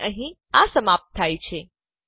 અને અહીં આ સમાપ્ત થાય છે